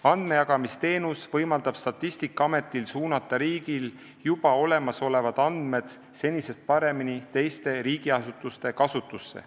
Andmejagamisteenus võimaldab Statistikaametil suunata riigil juba olemasolevad andmed senisest paremini teiste riigiasutuste kasutusse.